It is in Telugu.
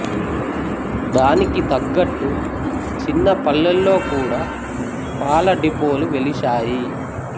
దానికి తగ్గట్టు చిన్న పల్లేల్లో కూడా పాల డిపోలు వెలిశాయి